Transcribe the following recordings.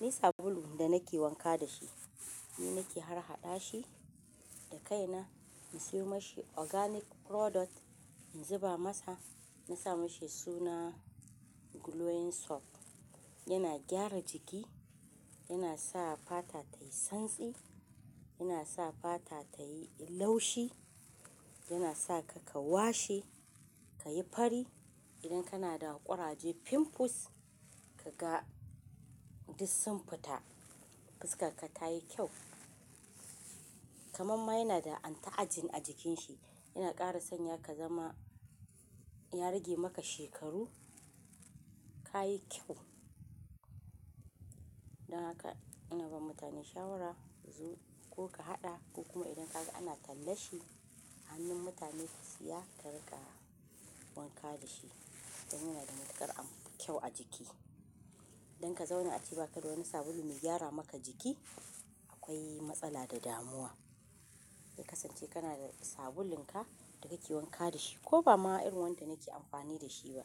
Ni sabulu da nake wanka da shi, ni nake har haɗa shi da kaina. Na siyo mashi organic product, in zuba masa, na sa mashi suna glowing soap. Yana gyara jiki, yana sa fata tayi santsi, yana sa fata tayi laushi, yana sa ka ka washe, ka yi fari. Idan kana da ƙuraje, pimples, ka ga duk sun fita, fuskar ka ta yi kyau. Kaman ma yana da anti-aging a jikin shi, yana ƙara sanya ka zama, ya rage maka shekaru, ka yi kyau. Don haka ina ba mutane shawara a zo ko ka haɗa ko kuma idan ka ga ana talla shi, hannun mutane ka siya ka riƙa wanka da shi. Don yana da matuƙar kyau a jiki. Don ka zauna a ce baka da wani sabulu mai gyara maka jiki, akwai matsala da damuwa. Ka kasance kana da sabulun ka da ka ke wanka da shi ko ba ma irin wanda nake amfani da shi ba.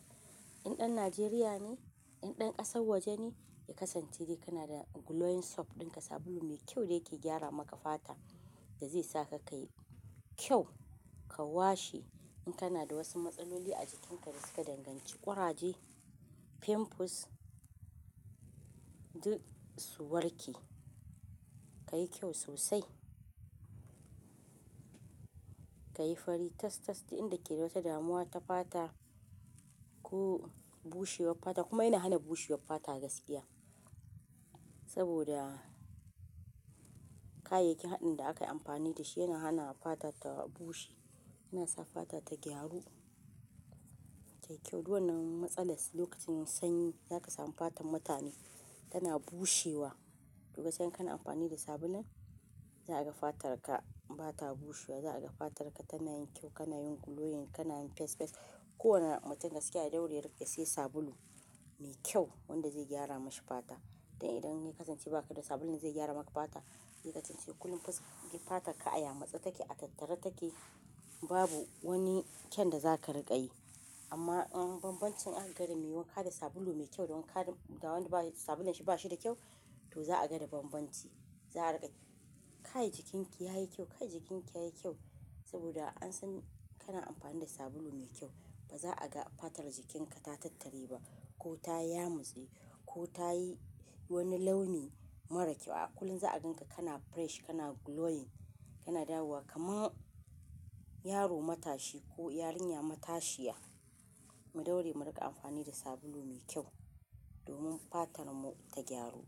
In ɗan Najeriya ne, in ɗan ƙasar waje ne, ka kasance kana da glowing soap ɗinka, sabulu mai kyau da yake gyara maka fata da zai sa ka ka yi kyau, ka washi. In kana da wasu matsaloli a jikinka da suka danganci ƙuraje, pimples, duk su warke. Ka yi kyau sosai. Ka yi fari tas-tas da inda ke da wata damuwa ta fata ko bushewar fata kuma yana hana bushewar fata gaskiya. Saboda kayayyakin haɗin da aka yi amfani da shi yana hana fata ta bushe. Yana sa fata ta gyaru. Ta yi kyau. Duk wannan matsalar lokacin sanyi za ka samu fatar mutane tana bushewa. To gaskiya in kana amfani da sabulun, za a ga fatar ka ba ta bushewa, za a ga fatar ka tana yin kyau, kana yin glowing, kana yin fess fess. Kowane mutum gaskiya ya daure ya ri ya sai sabulu mai kyau wanda zai gyara mashi fata. Dan idan ya kasance ba ka da sabulun da zai gyara maka fata zai kasance kullum fata ka ai a matse take a tataran take babu wani kyaun da zaka riga yi amma in bambancinka da me wanka da sabulu mai kyau don ka gan da wanda sabulun shi ba shi da kyau, to za a ga da bambanci. Kai jikin ki yayi kyau kai jikin ki yayi kyau saboda an san kana amfani da sabulu mai kyau ba za a ga fatar jikinka ta tattari ba ko ta yamutse ko ta yi wani launi mara kyau. A kullum za a gan ka kana fresh, kana glowing, kana dawowa kaman yaro matashi ko yarinya matashiya. Mu daure mu riƙa amfani da sabulu mai kyau domin fatar mu ta gyaru.